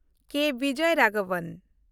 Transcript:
ᱠᱮ. Bijoy Raghavan